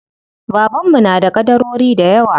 Baban mu na da ƙadarori dayawa.